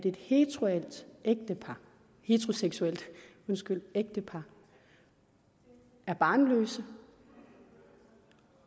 et heteroseksuelt ægtepar er barnløst